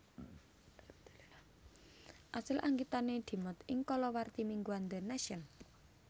Asil anggitane dimot ing kalawarti mingguan The Nation